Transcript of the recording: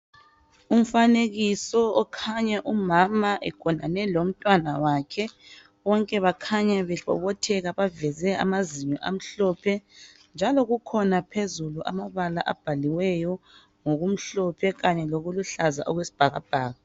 Umfanekiso okhanya umama egonane lomnawakhe. Bonke bakhanya bebobotheka baveze amazinyo amhlophe njalo kukhona phezulu amabala abhaliweyo ngokumhlophe kanye lokuluhlaza okwesibhakabhaka.